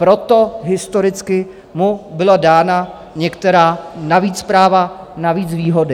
Proto historicky mu byla dána některá navíc práva, navíc výhody.